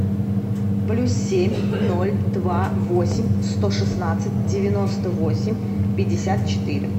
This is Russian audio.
плюс семь ноль два восемь сто шестнадцать девяносто восемь пятьдесят четыре